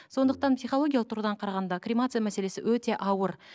сондықтан психологиялық тұрғыдан қарағанда кремация мәселесі өте ауыр